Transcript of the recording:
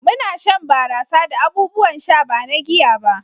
muna shan barasa da abubuwan sha ba na giya ba